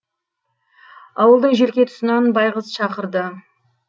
ауылдың желке тұсынан байғыз шақырды